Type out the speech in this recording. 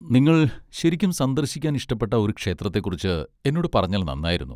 നിങ്ങൾ ശരിക്കും സന്ദർശിക്കാൻ ഇഷ്ടപ്പെട്ട ഒരു ക്ഷേത്രത്തെക്കുറിച്ച് എന്നോട് പറഞ്ഞാൽ നന്നായിരുന്നു.